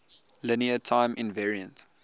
linear time invariant